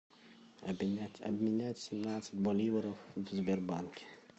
обменять обменять семнадцать боливаров в сбербанке